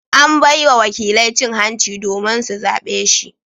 An bai wa wakilai cin hanci domin su zabe shi.